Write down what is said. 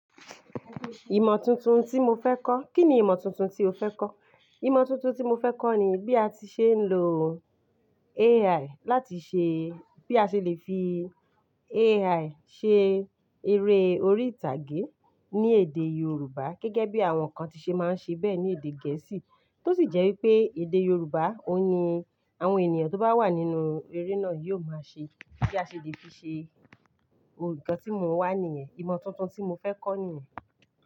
Ìmọ̀ tuntun tí mo fẹ́ kọ́, kí ni ìmọ̀ tuntun tí o fẹ́ kọ́? Ìmọ̀ tuntun tí mo fẹ́ kọ́ ni bí a ti ṣe ń lo AI AI láti ṣe, bí a ṣe le fi AI ṣe eré orí ìtàgé ní èdè Yorùbá gẹ́gẹ́ bí àwọn kan ti ṣe máa ń ṣe bẹ́ẹ̀ ní èdè Gẹ̀ẹ́sì. Tó sì jẹ́ wípé èdè Yorùbá òhun ní àwọn ènìyàn tó bá wà nínú eré náà yóò máa ṣe. Bí a ṣe le fi ṣe ohun kan tí mò ń wà ní ẹ̀. Ìmọ̀ tuntun tí mo fẹ́ kọ́ nìyẹn.